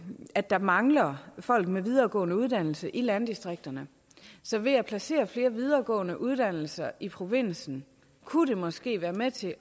at der mangler folk med videregående uddannelse i landdistrikterne så ved at placere flere videregående uddannelser i provinsen kunne det måske være med til